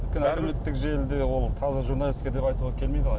әлеуметтік желіде ол таза журналистика деп айтуға келмейді ғой